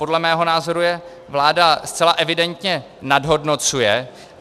Podle mého názoru je vláda zcela evidentně nadhodnocuje.